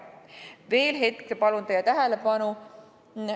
Veel hetke palun teie tähelepanu.